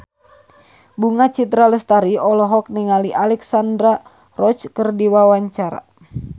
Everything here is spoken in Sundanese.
Bunga Citra Lestari olohok ningali Alexandra Roach keur diwawancara